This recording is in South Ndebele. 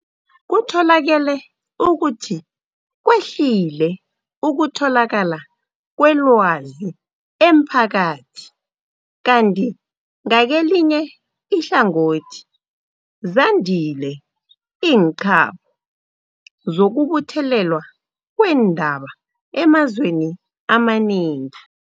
Kutholakele ukuthi kwehlile ukutholakala kwelwazi emphakathi kanti ngakelinye ihlangothi zandile iinqabo zokubuthelelwa kweendaba emazweni amanengi.